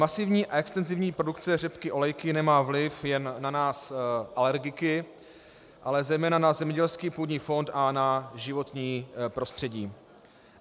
Masivní a extenzivní produkce řepky olejky nemá vliv jen na nás alergiky, ale zejména na zemědělský půdní fond a na životní prostředí.